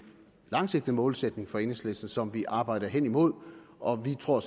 langsigtet målsætning for enhedslisten som vi arbejder hen imod og jeg tror